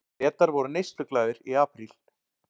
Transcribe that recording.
Bretar voru neysluglaðir í apríl